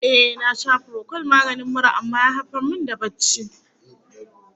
Ehh, na sha furokol maganin mura amma ya haifar min da barci.